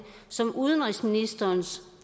som udenrigsministerens